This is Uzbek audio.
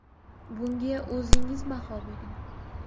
Bunga o‘zingiz baho bering.